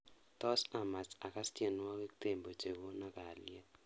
Tos amach agaas tyenwogikab tembo chegono kalyet